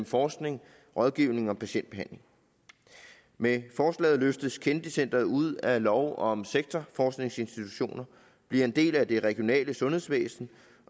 forskning rådgivning og patientbehandling med forslaget løftes kennedy centret ud af lov om sektorforskningsinstitutioner bliver en del af det regionale sundhedsvæsen